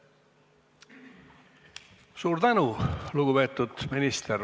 Suur tänu, lugupeetud minister!